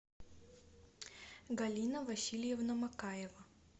галина васильевна макаева